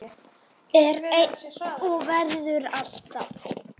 Er enn og verður alltaf.